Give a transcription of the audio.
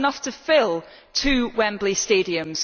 That is enough to fill two Wembley Stadiums.